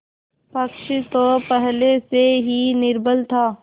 पक्ष तो पहले से ही निर्बल था